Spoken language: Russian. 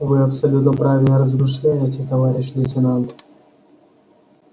вы абсолютно правильно размышляете товарищ лейтенант